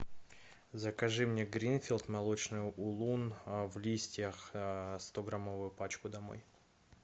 закажи мне гринфилд молочный улун в листьях стограммовую пачку домой